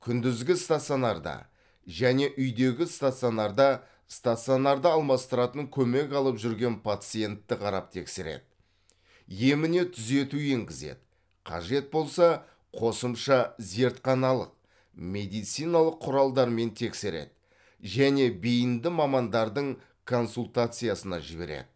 күндізгі стационарда және үйдегі стационарда стационарды алмастыратын көмек алып жүрген пациентті қарап тексереді еміне түзету енгізеді қажет болса қосымша зертханалық медициналық құралдармен тексереді және бейінді мамандардың консультациясына жібереді